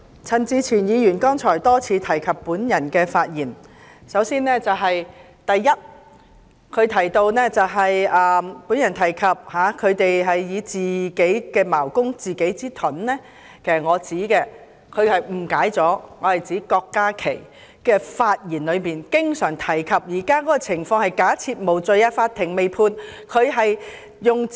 陳志全議員剛才的發言多次提及我的發言，首先，他提到我提及他們是"以自己之矛攻自己之盾"，其實他誤解了，我是指郭家麒議員的發言經常提及現時的情況是無罪推定，法庭尚未作出判決。